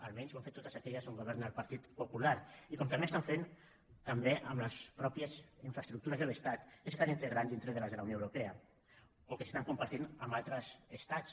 almenys ho han fet totes aquelles on governa el partit popular i com també ho estan fent també amb les mateixes infraestructures de l’estat que s’estan integrant dintre de les de la unió europea o que s’estan compartint amb altres estats